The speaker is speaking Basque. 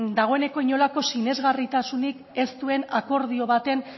dagoeneko inolako sinesgarritasunik ez duen akordio baten